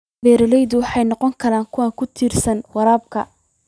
Beeraleydu waxay noqon karaan kuwo ku tiirsan waraabka.